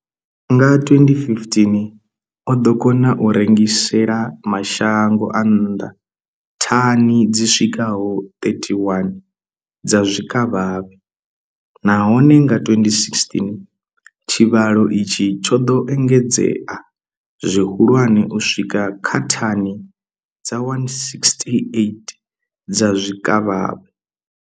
Nga 2015, o ḓo kona u rengisela mashango a nnḓa thani dzi swikaho 31 dza zwikavhavhe, nahone nga 2016 tshivhalo itshi tsho ḓo engedzea zwihulwane u swika kha thani dza 168 dza zwikavhavhe.